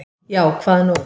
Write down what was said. Já, hvað nú?